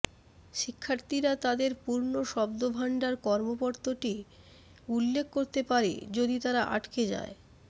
শিক্ষার্থীরা তাদের পূর্ণ শব্দভান্ডার কর্মপত্রটি উল্লেখ করতে পারে যদি তারা আটকে যায়